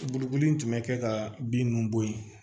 Bolokoli in tun bɛ kɛ ka bin ninnu bɔ yen